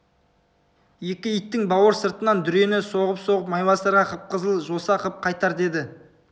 екі иттің бауыр сыртынан дүрені соғып-соғып майбасарға қып-қызыл жоса қып қайтар деді